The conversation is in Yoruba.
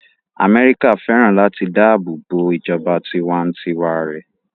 Amẹ́ríkà fẹ́ràn láti dáàbò bo ìjọba tiwa-n-tiwa rẹ̀